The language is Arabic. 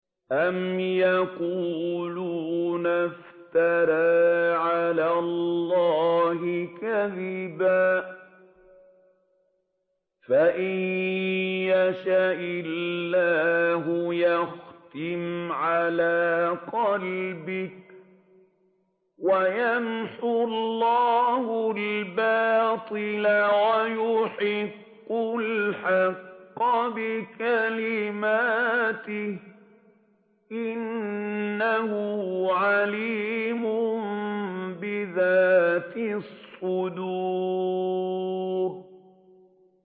أَمْ يَقُولُونَ افْتَرَىٰ عَلَى اللَّهِ كَذِبًا ۖ فَإِن يَشَإِ اللَّهُ يَخْتِمْ عَلَىٰ قَلْبِكَ ۗ وَيَمْحُ اللَّهُ الْبَاطِلَ وَيُحِقُّ الْحَقَّ بِكَلِمَاتِهِ ۚ إِنَّهُ عَلِيمٌ بِذَاتِ الصُّدُورِ